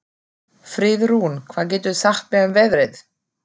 Friðrún, hvað geturðu sagt mér um veðrið?